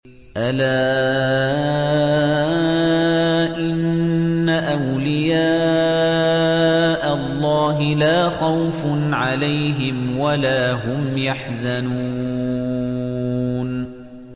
أَلَا إِنَّ أَوْلِيَاءَ اللَّهِ لَا خَوْفٌ عَلَيْهِمْ وَلَا هُمْ يَحْزَنُونَ